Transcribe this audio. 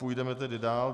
Půjdeme tedy dál.